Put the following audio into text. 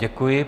Děkuji.